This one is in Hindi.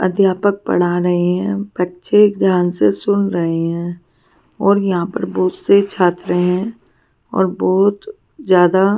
अध्यापक पढ़ा रहे हैं बच्चे ध्यान से सुन रहे हैं और यहां पर बहुत से छात्र हैं और बहुत ज्यादा--